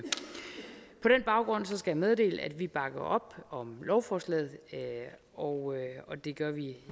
jeg meddele at vi bakker op om lovforslaget og det gør vi